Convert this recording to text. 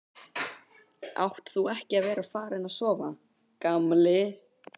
Átt þú ekki að vera farinn að sofa, gamli?